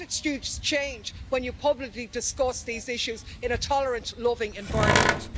Attitudes change when you publicly discuss these issues in a tolerant, loving environment.